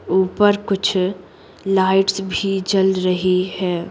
ऊपर कुछ लाइट्स भी जल रही है।